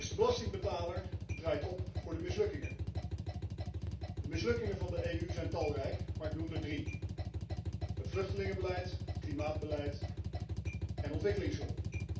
De belastingbetaler draait dus op voor de mislukkingen. De mislukkingen van de EU zijn talrijk, maar ik noem er drie het vluchtelingenbeleid, het klimaatbeleid en ontwikkelingshulp.